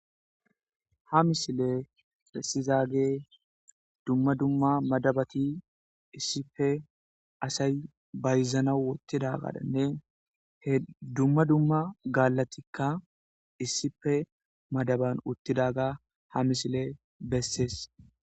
Ha misiley besizagey dumma dumma madabati issippe asay bayzanaw wottidaganne he dumma dumma gaallati issippe madaban uttidaga ha misiley besses.